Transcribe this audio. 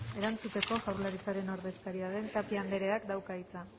erantzuteko jaurlaritzaren ordezkaria den tapia andreak dauka hitza